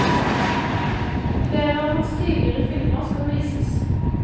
Flere av hans tidligere filmer skal vises.